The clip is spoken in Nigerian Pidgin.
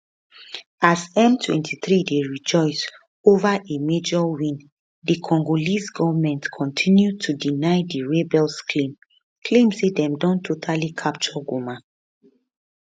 as m23 dey rejoice over a major win di congolese goment continue to deny di rebels claim claim say dem don totally capture goma